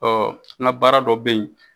Ɔ n ga baara dɔ be yen